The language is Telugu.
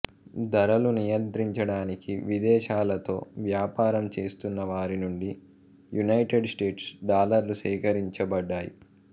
ధరలు నియంత్రించడానికి విదేశాలతో వ్యాపారం చేస్తున్న వారి నుండి యునైటెడ్ స్టేట్స్ డాలర్లు సేకరించబడ్డాయి